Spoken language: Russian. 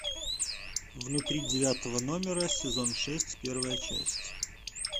внутри девятого номера сезон шесть первая часть